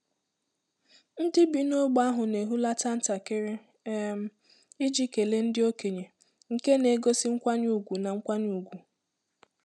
Ndị bi n’ógbè ahụ na-ehulata ntakịrị um iji kelee ndị okenye, nke na-egosi nkwanye ùgwù na nkwanye ùgwù.